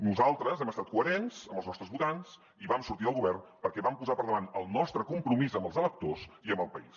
nosaltres hem estat coherents amb els nostres votants i vam sortir del govern perquè vam posar per davant el nostre compromís amb els electors i amb el país